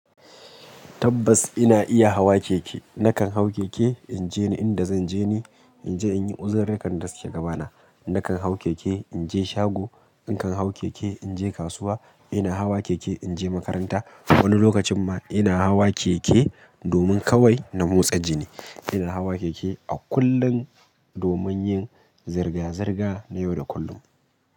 Tabbas ina iya hawa keke. Nakan hau keke in je inda zan je ni, in je in yi uzurukan da suke gaba na. Nakan hau keke in je shago, nakan hau keke in je kasuwa, ina hawa keke in je makaranta. Wani lokacin ma ina hawa keke domin kawai na motsa jini. Ina hawa keke a kullum domin yin zirga-zirga na yau da kullum.